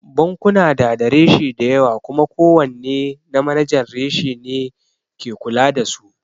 Bankuna na da reshe dayawa kuma ko wanne na manajan reshe ne ke kula da su